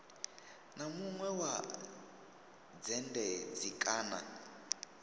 na munwe wa dzhendedzi kana